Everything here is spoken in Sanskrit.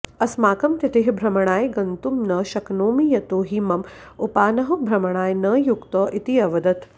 अस्माकमतिथिः भ्रमणाय गन्तुं न शक्नोमि यतो हि मम उपानहौ भ्रमणाय न युक्तौ इति अवदत्